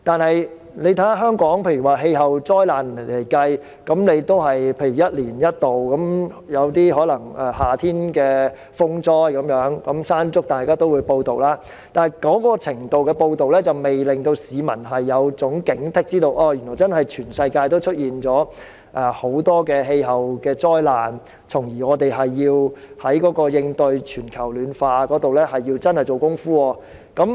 然而，以香港的氣候災難而言，也只是一年一度才出現，例如夏天會出現颱風"山竹"等風災，屆時大家也會報道，但這種程度的報道並未能令市民有所警惕，知道全球也出現很多氣候災難，從而在應對全球暖化上真正下工夫。